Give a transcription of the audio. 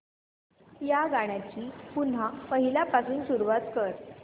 या गाण्या ची पुन्हा पहिल्यापासून सुरुवात कर